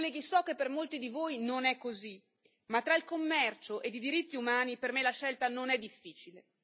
Colleghi, so che per molti di voi non è così, ma tra il commercio e i diritti umani per me la scelta non è difficile.